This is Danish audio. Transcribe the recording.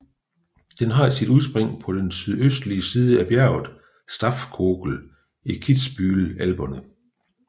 Den har sit udspring på den sydøstlige side af bjerget Staffkogel i Kitzbühel Alperne